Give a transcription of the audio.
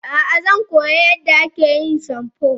a'a, zan koyi yadda ake yin shamfu